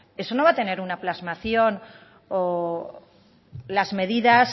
eso no va a tener una plasmación o las medidas